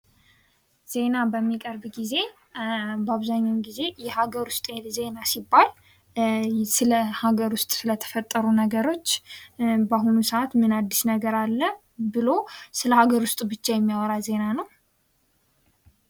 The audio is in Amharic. ዜና በሚቀርብ ጊዜ በአብዛኛዉን ጊዜ የሀገር ዉስጥ ዜና ሲባል ስለ ሀገር ዉስጥ ስለተፈጠሩ ነገሮች በአሁኑ ሰዓት ምን አዲስ ነገር አለ ብሎ ስለ ሀገር ዉስጥ ብቻ የሚወራበት ዜና ነዉ።